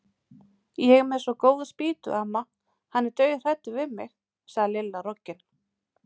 Ég er með svo góða spýtu, amma, hann er dauðhræddur við mig sagði Lilla roggin.